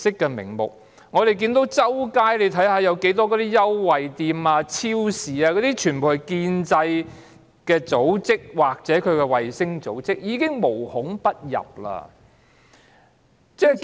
我們看見滿街也是優惠店、超市，全部屬於建制派組織或其衞星組織，無孔不入。